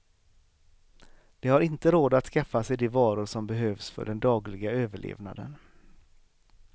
De har inte råd att skaffa sig de varor som behövs för den dagliga överlevnaden.